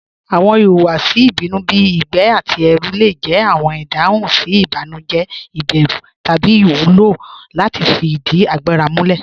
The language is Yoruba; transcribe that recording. Awọn ìhùwàsì ìbínú bí igbẹ̀ àti ẹrù le jẹ awọn ìdáhùn sí ìbànújẹ̀, ìbérù, tabí iwúlọ láti fí ìdí àgbàrà múlẹ̀.